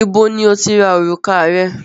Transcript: Ibo ní o ti ra orùka rẹ?